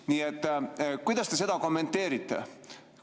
Nii et kuidas te seda kommenteerite?